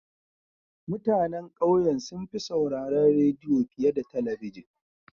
Mutanen ƙauyen sun fi sauraron rediyo fiye da talabijin.